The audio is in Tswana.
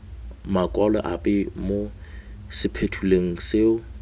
makwalo ape mo sephuthelong seo